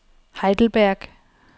Heidelberg